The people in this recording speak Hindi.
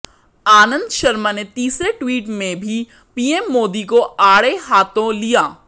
आनंद शर्मा ने तीसरे ट्वीट में भी पीएम मोदी को आड़े हाथों लिया